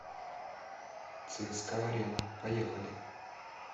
цска арена поехали